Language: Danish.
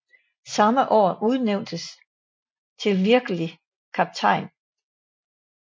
Samme år udnævnt til virkelig kaptajn